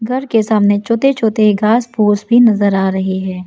घर के सामने छोटे छोटे घास फूस भी नजर आ रही हैं।